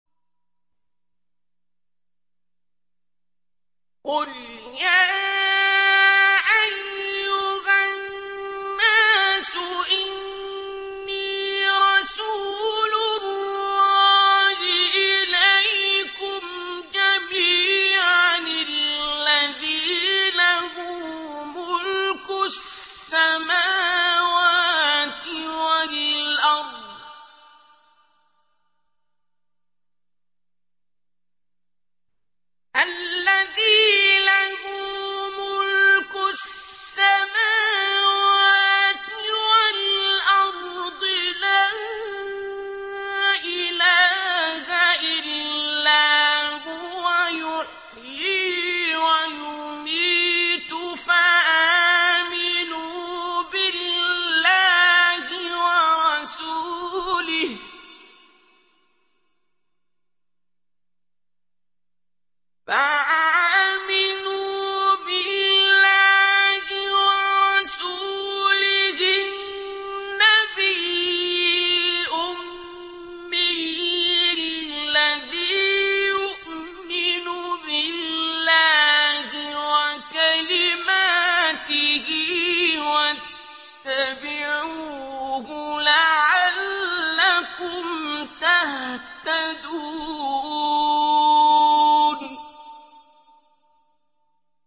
قُلْ يَا أَيُّهَا النَّاسُ إِنِّي رَسُولُ اللَّهِ إِلَيْكُمْ جَمِيعًا الَّذِي لَهُ مُلْكُ السَّمَاوَاتِ وَالْأَرْضِ ۖ لَا إِلَٰهَ إِلَّا هُوَ يُحْيِي وَيُمِيتُ ۖ فَآمِنُوا بِاللَّهِ وَرَسُولِهِ النَّبِيِّ الْأُمِّيِّ الَّذِي يُؤْمِنُ بِاللَّهِ وَكَلِمَاتِهِ وَاتَّبِعُوهُ لَعَلَّكُمْ تَهْتَدُونَ